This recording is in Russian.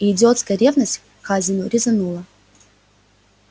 и идиотская ревность к хазину резанула